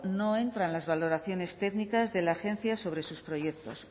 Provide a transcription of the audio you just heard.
no entran las valoraciones técnicas de la agencia sobre sus proyectos